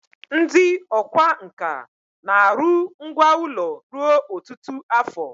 ndi okwá nkà na-aru ngwá ulo ruo otutu afo